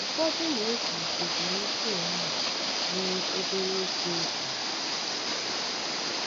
Ụfọdụ na-eji ezumike ehihie mee obere oge ọmụmụ.